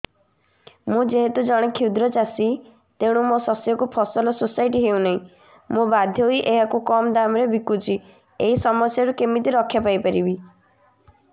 ମୁଁ ଯେହେତୁ ଜଣେ କ୍ଷୁଦ୍ର ଚାଷୀ ତେଣୁ ମୋ ଶସ୍ୟକୁ ଫସଲ ସୋସାଇଟି ନେଉ ନାହିଁ ମୁ ବାଧ୍ୟ ହୋଇ ଏହାକୁ କମ୍ ଦାମ୍ ରେ ବିକୁଛି ଏହି ସମସ୍ୟାରୁ କେମିତି ରକ୍ଷାପାଇ ପାରିବି